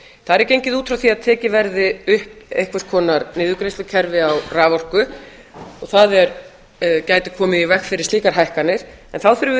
þar er gengið út frá því að tekið verði upp einhvers konar niðurgreiðslukerfi á raforku og það gæti komið í veg fyrir slíkar hækkanir en þá þurfum við